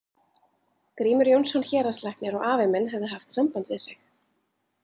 Grímur Jónsson héraðslæknir og afi minn hefðu haft samband við sig.